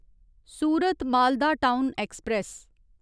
Surat Malda town express